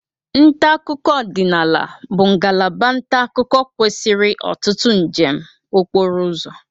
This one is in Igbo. Nta akụkọ ọdịnaala bụ ngalaba nta akụkọ kwesịrị ọtụtụ njem okporo ụzọ.